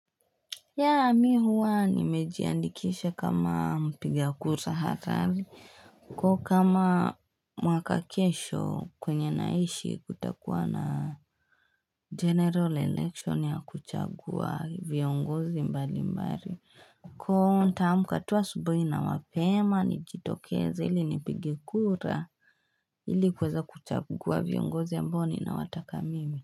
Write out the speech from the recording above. Ya mi huwa ni mejiandikisha kama mpiga kura harari kwa kama mwakakesho kwenye naishi kutakuwa na general election ya kuchagua viongozi mbali mbali. Kwa nitaamka tu asubuhi na mapema ni jitokeze ili nipige kura ili kuweza kuchagua viongozi ambao ni na watakamimi.